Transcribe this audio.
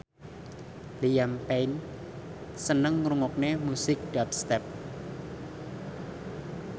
Liam Payne seneng ngrungokne musik dubstep